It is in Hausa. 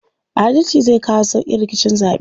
Adalci zai kawo sauƙin rikicin zaɓe.